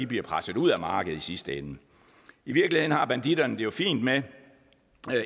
bliver presset ud af markedet i sidste ende i virkeligheden har banditterne det jo fint med